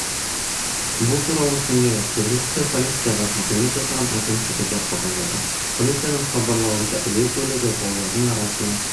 бұл туралы сондай-ақ жергілікті полицияға сілтеме жасаған агенттігі де хабарлады полицияның хабарлауынша әуе көлігі таулардың арасына